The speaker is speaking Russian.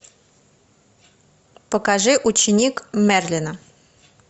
покажи ученик мерлина